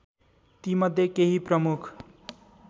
ति मध्य केही प्रमुख